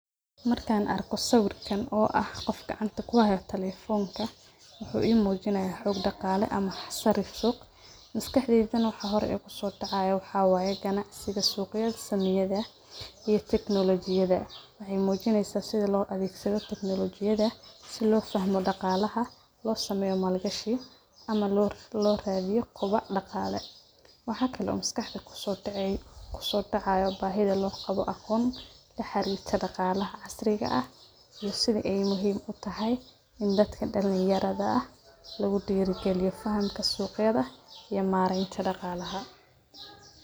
Markan arko swirkan o aah qof gacanta ku hayo telephonka wuxu i mujinaya xoog daqale ama sarifuhu maskaxdeydana waxa hore ee kusodacaya waxawaye ganacsiga sug ya sameyadha iyo technolojiyadha waxay mujinaysa sida loo adhegsadho teknolojiyada si lo fahmo daqalaha loo sameyo maal gashi ama loo raadiyo kubac daqale waxa kale maskaxda kusodacay bahidha loo qabo aqoon la xarirta daqalaha casriga ah iyo sidha ay muhiim u tahay in daadka dalinyardha luga diragiliyo fahamka sugyadha iyo mareenta daqalaha.